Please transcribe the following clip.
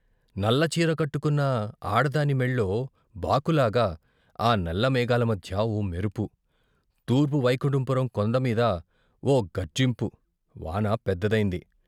నల్ల చీర కట్టుకున్న ఆడదాని మొల్లో బాకులాగా ఆ నల్ల మేఘాల మధ్య ఓ మెరుపు, తూర్పు వైకుంఠపురం కొండమీద ఓ గర్జింపు వాన పెద్దదైంది.